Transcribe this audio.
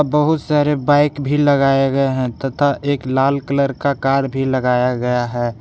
बहुत सारे बाइक भी लगाए गए हैं तथा एक लाल कलर का कार भी लगाया गया है।